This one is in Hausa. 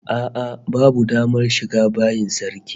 A'a babu damar shiga bayin sarki